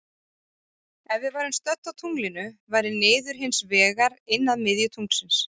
Ef við værum stödd á tunglinu væri niður hins vegar inn að miðju tunglsins.